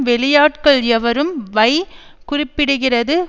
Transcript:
வெளியாட்கள் எவரும் வை குறிப்பிடுகிறது